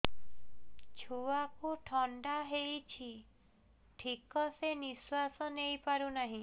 ଛୁଆକୁ ଥଣ୍ଡା ହେଇଛି ଠିକ ସେ ନିଶ୍ୱାସ ନେଇ ପାରୁ ନାହିଁ